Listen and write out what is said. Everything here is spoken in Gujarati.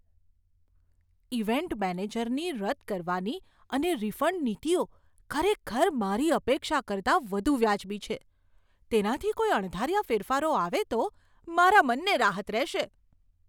ઈવેન્ટ મેનેજરની રદ કરવાની અને રિફંડ નીતિઓ ખરેખર મારી અપેક્ષા કરતાં વધુ વાજબી છે. તેનાથી કોઈ અણધાર્યા ફેરફારો આવે તો, મારા મનને રાહત રહેશે.